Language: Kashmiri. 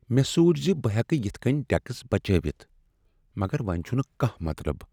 مےٚ سوچ ز بہٕ ہیکہٕ یتھہٕ کٔنہِ ٹیکس بچٲوتھ ، مگر وۄنۍ چھٗنہٕ کانٛہہ مطلب۔